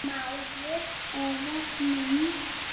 Maður eða mynd